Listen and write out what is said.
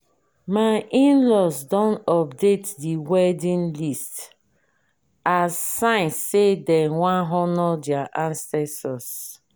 my inlaws don update the wedding list as sign say dem wan honour their ancestors